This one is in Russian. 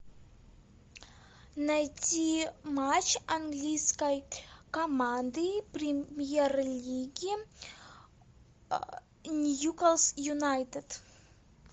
найти матч английской команды премьер лиги ньюкасл юнайтед